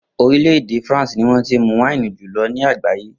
Orílè̩ èdè France ni wó̩n ti ń mu wáìnì jù lo̩ ní àgbàyé